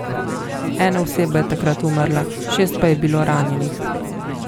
Ena oseba je takrat umrla, šest pa je bilo ranjenih.